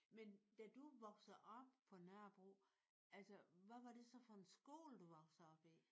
Men da du vokser op på Nørrebro altså hvad var det så for en skole du vokser op i?